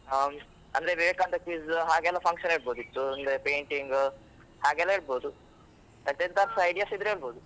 ಆ, ಅಂದ್ರೆ ವಿವೇಕಾನಂದ quiz ಹಾಗೆಲ್ಲ function ಇಡಬಹುದಿತ್ತು, ಅಂದ್ರೆ painting ಹಾಗೆಲ್ಲ ಇಡಬಹುದು, ಮತ್ತೆ ಎಂತಾರು ಸಹ ideas ಇದ್ರೆ ಹೇಳಬಹುದು.